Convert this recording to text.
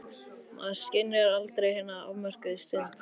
Maður skynjar aldrei hina afmörkuðu stund.